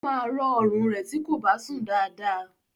Ó máa rọ̀ọ ọrùn rẹ̀ tí kò bá sùn dáadáa